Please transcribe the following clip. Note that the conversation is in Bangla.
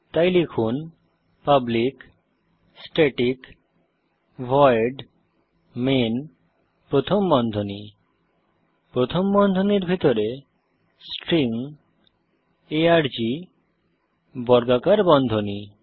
তাই লিখুন পাবলিক স্ট্যাটিক ভয়েড মেইন প্রথম বন্ধনী প্রথম বন্ধনীর ভিতরে স্ট্রিং আর্গ বর্গাকার বন্ধনী